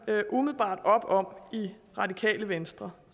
umiddelbart op om i radikale venstre